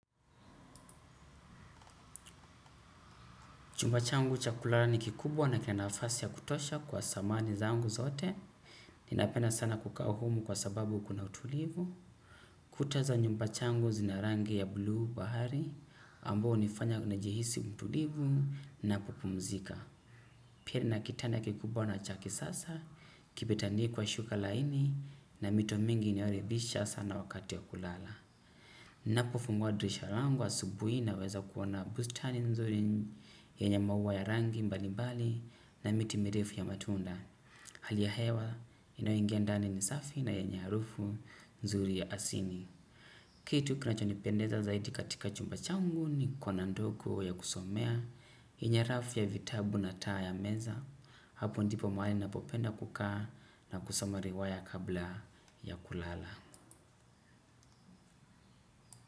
Chumba changu cha kulala ni kikubwa na kina nafasi ya kutosha kwa samani zangu zote. Ninapenda sana kukaa humu ni kwa sababu kuna utulivi. Kuta za nyumba yangu zina rangi ya buluu bahari, amboyo hunifanya nijihisi mtulivu na kupumzika. Pia nina kitanda kikubwa na cha kisasa, kimetandikwa shuka laini na mito mingi inayoridhisha sana wakati ya kulala. Ninapofungua dirisha langu asubuhi naweza kuona bustani nzuri yenye maua ya rangi mbalimbali na miti mirefu ya matunda. Hali ya hewa inayoingia ndani ni safi na yenye harufu nzuri ya asini. Kitu kinachonipendeza zaidi katika chumba changu ni kona ndogo ya kusomea, hinyarafu ya vitabu na taa ya meza. Hapo ndipo mahali ninapopenda kukaa, na kusoma riwaya kabla ya kulala.